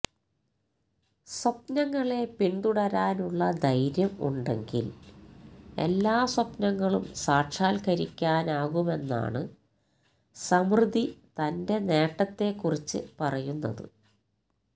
സ്വപ്നങ്ങളെ പിന്തുടരാനുള്ള ധൈര്യം ഉണ്ടെങ്കില് എല്ലാ സ്വപ്നങ്ങളും സാക്ഷാത്കരിക്കാനാകുമെന്നാണ് സമൃദ്ധി തന്റെ നേട്ടത്തെ കുറിച്ച് പറയുന്നത്